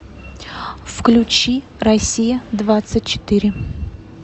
включи россия двадцать четыре